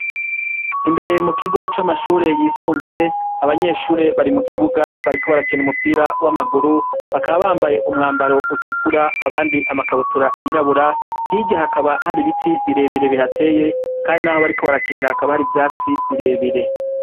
Imbere mu kigo c'amashuri yisumbuye, abanyeshuri bari mu kibuga bariko barakina umupira w'amaguru, bakaba bambaye umwambaro utukura abandi amakabutura yirabura, hirya hakaba hari ibiti birebire bihateye, kandi naho bariko barakinira hakaba hari ivyatsi birebire.